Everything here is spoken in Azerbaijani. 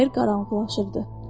Bayır qaranlıqlaşırdı.